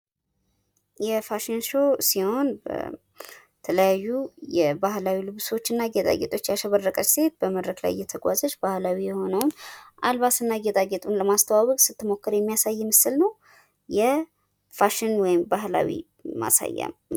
የፋሽን ሾው ሲሆን በተለያዩ የባህላዊ ልብሶች እና ጌጣጌጦች ያሸበረቀች ሴት በመድረክ ላይ እየተጓዘች ባህላዊ የሆነውን አልባስ እና ጌጣጌጡን ለማስተዋወቅ ስትሞክር የሚያሳይ ምስል ነው። የፋሽን ወይም ባህላዊ ማሳያ ነው።